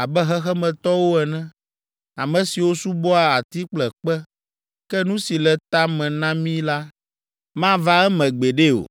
abe xexemetɔwo ene, ame siwo subɔa ati kple kpe! Ke nu si le ta me na mi la, mava eme gbeɖe o.’